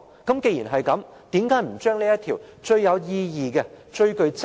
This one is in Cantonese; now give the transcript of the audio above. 既然如此，為何不把這項最有意義、最具